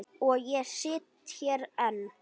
Og ég sit hér enn.